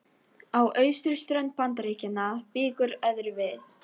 Á austurströnd Bandaríkjanna víkur öðru við.